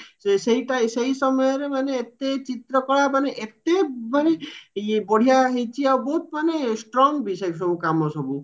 ସେଇ ସେଇ ସମୟରେ ମାନେ ଏତେ ଚିତ୍ର କଳା ମାନେ ଏତେ ମାନେ ଇଏ ବଢିଆ ହେଇଚି ଆଉ ବୋହୁତ ମାନେ strong ବି ସେଇ ସବୁ କାମ ସବୁ